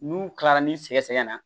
N'u kilara ni sɛgɛ sɛgɛ na